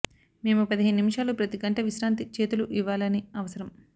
మేము పదిహేను నిమిషాలు ప్రతి గంట విశ్రాంతి చేతులు ఇవ్వాలని అవసరం